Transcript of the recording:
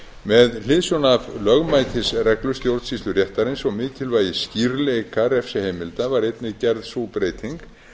með hliðsjón af lögmætisreglu stjórnsýsluréttarins og mikilvægis skýrleika refsiheimilda var einnig gerð sú breyting